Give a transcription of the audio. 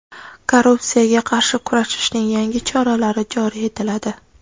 Korrupsiyaga qarshi kurashishning yangi choralari joriy etiladi.